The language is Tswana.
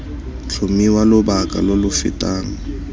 tlhomiwa lobaka lo lo fetang